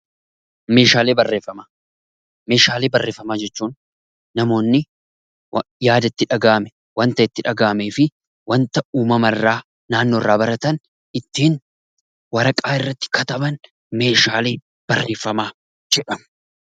Meeshaalee barreeffamaa Meeshaalee barreeffamaa jechuun namoonni yaada itti dhagaahame, waan itti dhagaahame fi waanta uumama irraa naannoo fi naannoo irraa baratan ittiin waraqaa irratti kataban Meeshaalee barreeffamaa jedhamu.